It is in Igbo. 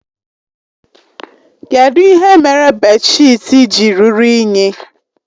Kedụ ihe mere bèdshịtị ji ruru unyi?